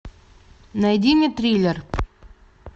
найди мне триллер